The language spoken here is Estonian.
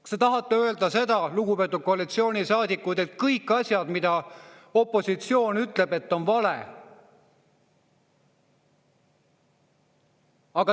Kas te tahate öelda, lugupeetud koalitsioonisaadikud, et kõik, mis opositsioon ütleb, on vale?